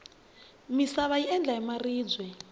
misava yi endla hi maribye